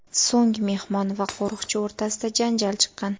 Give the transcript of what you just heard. So‘ng mehmon va qo‘riqchi o‘rtasida janjal chiqqan.